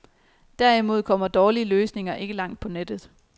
Derimod kommer dårlige løsninger ikke langt på nettet.